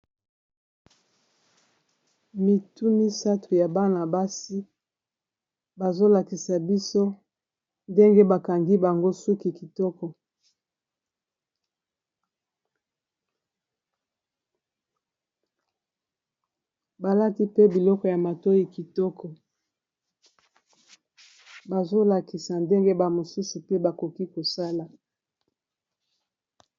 Mitu misato ya bana-basi bazolakisa biso ndenge bakangi bango suki kitoko balati pe biloko ya matoyi kitoko bazolakisa ndenge ba mosusu pe bakoki kosala.